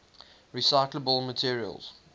recyclable materials